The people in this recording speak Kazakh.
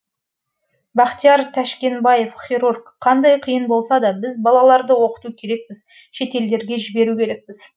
бахтияр тәшкенбаев хирург қандай қиын болса да біз балаларды оқыту керекпіз шетелдерге жіберу керекпіз